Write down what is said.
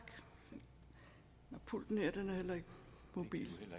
ja vi må